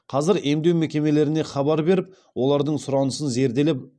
қазір емдеу мекемелеріне хабар беріп олардың сұранысын зерделеп